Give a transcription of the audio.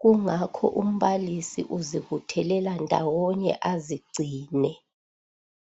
kungakho umbalisi uzibuthelela ndawonye azigcine.